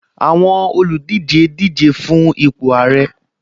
Àwọn olùdíje díje fun ipò ààrẹ